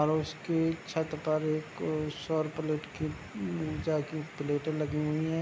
और उसके छत पर एक सोर प्लेट की प्लेटें लगी हुई है।